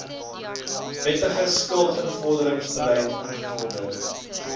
wettige skuldinvorderingsbeleid ingevorder